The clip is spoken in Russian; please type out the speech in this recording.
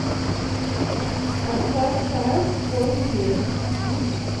поставь чайф вольный ветер